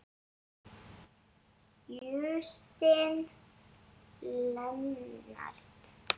Justin Leonard